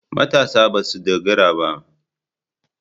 Matasa ba sa dogara.